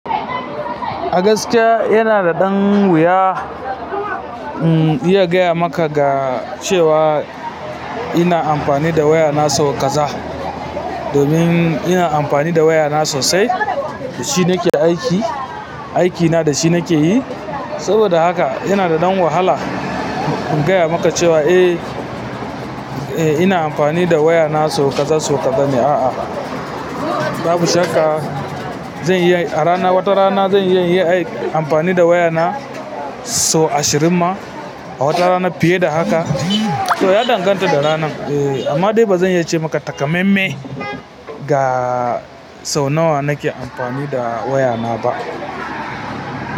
A gaskiya yana da ɗan wuya in iya gaya maka ga cewa ina amfani da waya na sau kaza. Domin ina amfani da waya na sosai, da shi nake aiki. Aiki na da shi nake yi. Saboda haka yana da ɗan wahala in gaya maka cewa, eh, eh ina amfani da waya na sau kaza, sau kaza ne, a'a. Babu shakka zan iya a rana, wata rana zan iya aiki amfani da waya na sau ashirin ma, a wata rana fiye da haka. To ya danganta da ranar. Eh amma dai ba zan iya ce maka takamaimai. Ga sau nawa nake amfani da waya na ba.